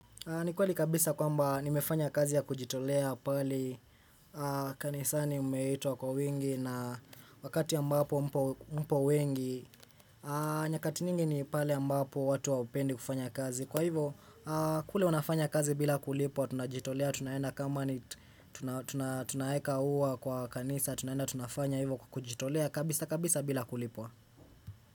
Ni kweli kabisa kwamba nimefanya kazi ya kujitolea pale kanisani umeitwa kwa wengi na wakati ambapo mpo wengi nyakati nyingini pale ambapo watu hawapendi kufanya kazi Kwa hivo kule unafanya kazi bila kulipwa tunajitolea tunaenda kama ni tunaeka uwa kwa kanisa tunaenda tunafanya hivo kujitolea kabisa kabisa bila kulipwa.